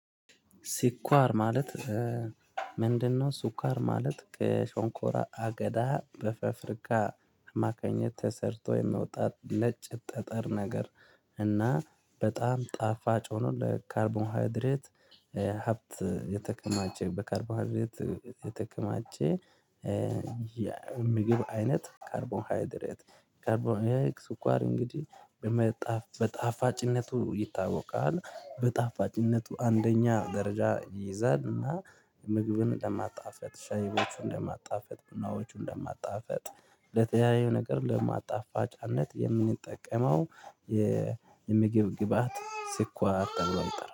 ስኳር ማለት ምንድነው? ስኳር ማለት ከሾንኮራ አገዳ በፋብሪካ አማካኝነት ተሰርቶ የመውጣት ነጭ ጠጠር ነገር እና በጣም ጣፋጭ ሆኖ ለካርቦሃድድሬት ሀብት የተከማቸ በካርቦሃድድሬት የተከማቸ። የምግብ አይነት ካርቦንሃይድሬት ካርቦንሃይድሬት ስኳር እንግዲህ በጣፋጭነቱ ይታወቃል በጣፋጭነቱ አንደኛ ደረጃ ይይዛል። እና ምግብን ለማጣፈጥ ሻይዎቹን ለማጣፈጥ ምናዎቹን ለማጣፈጥ ለተያዩ ነገር ለማጣፋጫነት የምንጠቀመው። የምግብ ግብአት ስኳር ተብሎ አይጠራም